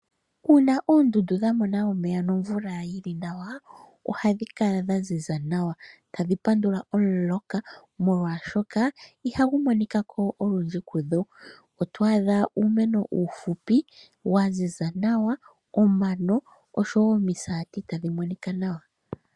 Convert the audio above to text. Uuna oondundu dha mona omeya nomvula yi li nawa, ohadhi kala dha ziza nawa, tadhi pandula omuloka molwashoka ihagu monika ko olundji kudho. Oto adha uumeno uufupi wa ziza nawa, omano osho wo omisaati tadhi monika nawa.